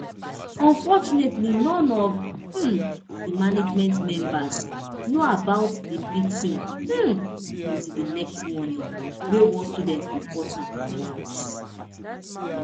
unfortunately none of um di management members know about di beating um until di next morning wen one student report am to us